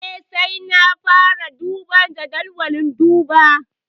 Eh, sai da na fara duba jadawalin duba.